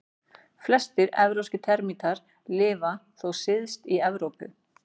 Flestir evrópskir termítar lifa þó syðst í Evrópu.